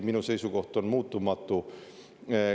Minu seisukoht on muutumatu.